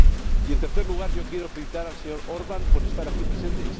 Y, en tercer lugar, quiero felicitar al señor Orbán por estar aquí presente.